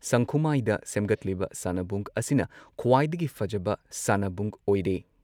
ꯁꯪꯈꯨꯃꯥꯏꯗ ꯁꯦꯝꯒꯠꯂꯤꯕ ꯁꯥꯟꯅꯕꯨꯡ ꯑꯁꯤꯅ ꯈ꯭ꯋꯥꯏꯗꯒꯤ ꯐꯖꯕ ꯁꯥꯟꯅꯕꯨꯡ ꯑꯣꯏꯔꯦ ꯫